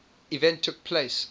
event took place